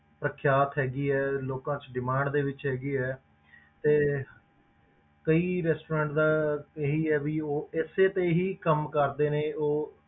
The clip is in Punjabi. ਪ੍ਰਖਿਆਤ ਹੈਗੀ ਹੈ ਲੋਕਾਂ 'ਚ demand ਦੇ ਵਿੱਚ ਹੈਗੀ ਹੈ ਤੇ ਕਈ restaurant ਦਾ ਇਹੀ ਹੈ ਵੀ ਉਹ ਇਸੇ ਤੇ ਹੀ ਕੰਮ ਕਰਦੇ ਨੇ ਉਹ